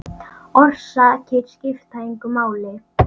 Orsakir skipta engu máli.